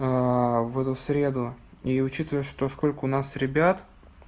в эту среду и учитывая что сколько у нас ребят